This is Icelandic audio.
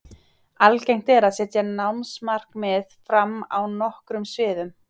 Algengt er að setja námsmarkmið fram á nokkrum sviðum.